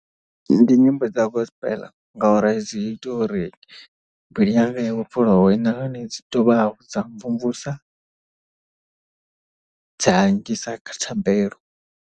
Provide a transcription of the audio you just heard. Ndi nyimbo dza gospel ngauri dzi ita uri mbilu yanga ya vhofholowe nahone dzi dovha hafhu dza mvumvusa dza nngisa kha thabelo.